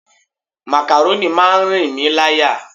Makaroni máa ń rìn mí láyà.